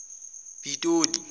pitoli